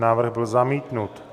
Návrh byl zamítnut.